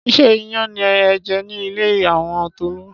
Ṣé iyán ni ẹ jẹ ní ilé àwọn Tolú?